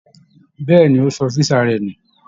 Bẹ́ẹ̀ ni, ó sọ físà rẹ̀ nù